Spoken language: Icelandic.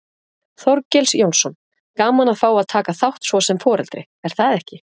Þorgils Jónsson: Gaman að fá að taka þátt svo sem foreldri, er það ekki?